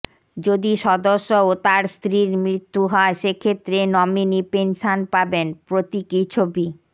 যদি সদস্য ও তাঁর স্ত্রীর মৃত্যু হয় সেক্ষেত্রে নমিনি পেনশন পাবেন প্রতীকী ছবি